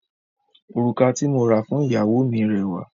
Òrùka tí mo ra fún ìyàwó mi rẹwà.